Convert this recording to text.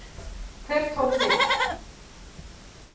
Hver tók við?